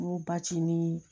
N ko basi ni